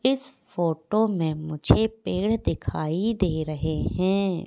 इस फोटो में मुझे पेड़ दिखाई दे रहे हैं।